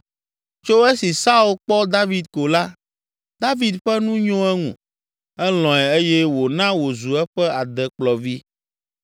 Tso esi Saul kpɔ David ko la, David ƒe nu nyo eŋu, elɔ̃e eye wòna wòzu eƒe adekplɔvi.